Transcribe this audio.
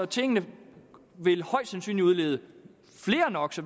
tingene vil højst sandsynligt udlede